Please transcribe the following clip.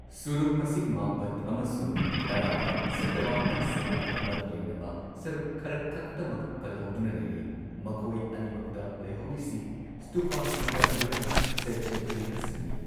ꯁꯨꯔꯨꯡ ꯃꯁꯤꯡ ꯃꯥꯄꯟ ꯑꯃꯁꯨꯡ ꯇꯔꯥꯗ ꯁ꯭ꯇꯨꯄꯥꯁꯤꯡꯒ ꯃꯔꯤ ꯂꯩꯅꯕ ꯁꯔꯨꯛ ꯈꯔꯈꯛꯇꯃꯛ ꯀꯜꯍꯧꯗꯨꯅ ꯂꯩꯔꯤ, ꯃꯈꯣꯏ ꯑꯅꯤꯃꯛꯇ ꯂꯩꯍꯧꯔꯤꯁꯤ ꯁ꯭ꯇꯨꯄꯁꯤꯡꯒ ꯂꯣꯏꯅꯅ ꯆꯩꯇ꯭ꯌ ꯒ꯭ꯔꯤꯍꯁꯤꯡꯅꯤ꯫